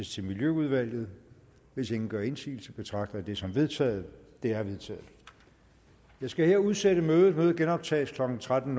til miljøudvalget hvis ingen gør indsigelse betragter jeg det som vedtaget det er vedtaget jeg skal her udsætte mødet det genoptages klokken tretten